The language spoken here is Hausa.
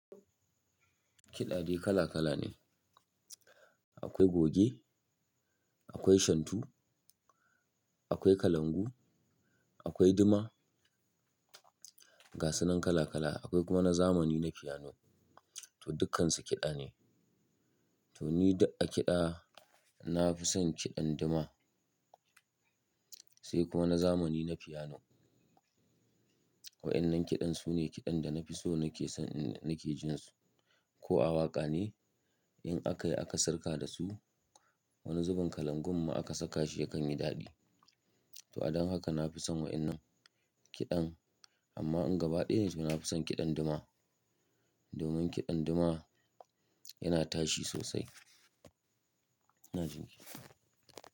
Kiɗa de kala kala ne, akwai goge, akwai shantu, akwai kalangu, akwai duma, gasunan kala kala akwai kuma na zamani na fiyano to dukkansu kiɗa ne. Toni duk a kiɗa nafi son kiɗan duma, sai kuma na zamani na fiyano. Wa'innan kiɗan sune kiɗan dana fi so nake son in nake jinsu. Ko awaƙa ne in akayi aka sirka da su wani zubin kalangun ma aka saka shi yakanyi daɗi. To adon haka nafi son wa'innan kiɗan amma in gaba ɗaya ne tona fi son kiɗan duma. Domin kiɗan duma yana tashi sosai, ina jinki.